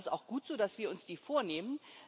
Das ist auch gut so, dass wir uns die vornehmen.